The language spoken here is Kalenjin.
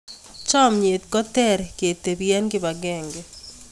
chamiet ko ter ketebi eng kibang'eng'e